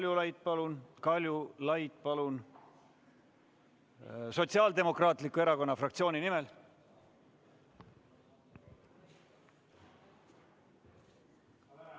Jah, Raimond Kaljulaid, palun, Sotsiaaldemokraatliku Erakonna fraktsiooni nimel!